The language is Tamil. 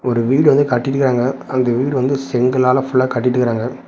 ஒரு வீடு வந்து கட்டிட்டிருக்காங்க. அந்த வீடு வந்து செங்கலால ஃபுல்லா கட்டிட்டிருக்காங்க.